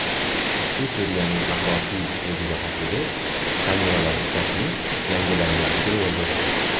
Ushbu seriyaning asosiy o‘ziga xosligi kameralar ishlashining yangilanganligi bo‘ldi.